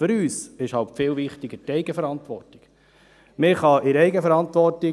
Für uns ist die Eigenverantwortung viel wichtiger.